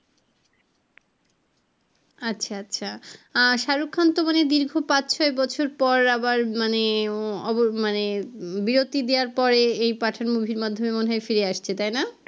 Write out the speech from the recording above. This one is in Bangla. আচ্ছা আচ্ছা তো shahrukh khan মনে হয়ই দীর্ঘ পাঁচ ছয় বছর পর আবার মানে মানে বিরতি দেওআর পরে এই pathan মুভি আর মাধ্যমে মনে হয় ফিরে আসছে তাই না